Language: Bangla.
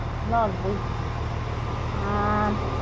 Loss বলছি। আহ